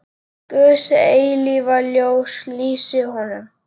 Guðs eilífa ljós lýsi honum.